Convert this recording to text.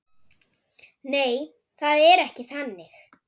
Nei, það er ekki þannig.